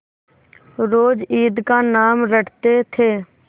रोज ईद का नाम रटते थे